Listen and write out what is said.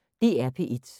DR P1